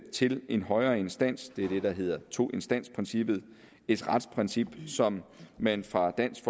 til en højere instans det er det der hedder toinstansprincippet et retsprincip som man fra dansk